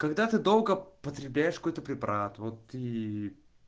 когда ты долго потребляешь какой-то препарат вот и